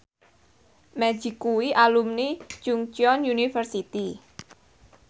Magic kuwi alumni Chungceong University